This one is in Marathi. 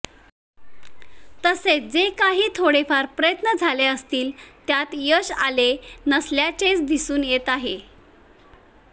तसेच जे काही थोडेफार प्रयत्न झाले असतील त्यात यश आले नसल्याचेच दिसून येत आहे